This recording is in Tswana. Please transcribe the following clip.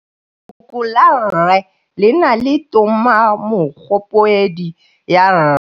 Lefoko la rre le na le tumammogôpedi ya, r.